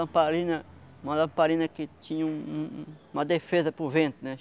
Lamparina, uma lamparina que tinha um um uma defesa para o vento, né?